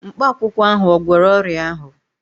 Mkpakwụkwọ ahụ ò gwọrọ ọrịa ahụ?